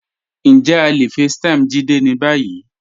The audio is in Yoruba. Njẹ̀ à le facetime Jídé ní báyì?